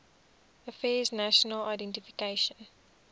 affairs national identification